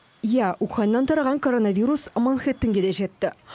иә уханьнан тараған коронавирус манхэттенге де жетті